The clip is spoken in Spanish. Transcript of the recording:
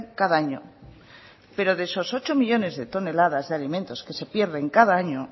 cada año pero de esos ocho millónes de toneladas de alimentos que se pierden cada año